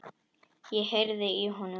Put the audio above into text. Ég heyrði í honum!